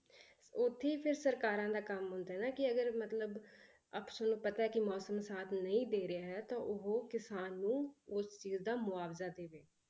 ਉੱਥੇ ਫਿਰ ਸਰਕਾਰਾਂ ਦਾ ਕੰਮ ਹੁੰਦਾ ਹੈ ਨਾ ਕਿ ਅਗਰ ਮਤਲਬ ਉਸਨੂੰ ਪਤਾ ਹੈ ਕਿ ਮੌਸਮ ਸਾਥ ਨਹੀਂ ਦੇ ਰਿਹਾ ਹੈ ਤਾਂ ਉਹ ਕਿਸਾਨ ਨੂੰ ਉਸ ਚੀਜ਼ ਦਾ ਮੁਆਵਜ਼ਾ ਦੇਵੇ।